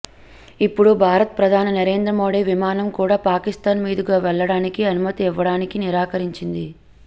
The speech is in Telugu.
ఇప్పుడు భారత్ ప్రధాని నరేంద్ర మోడీ విమానం కూడా పాకిస్థాన్ మీదుగా వెళ్లడానికి అనుమతి ఇవ్వడానికి నిరాకరించింది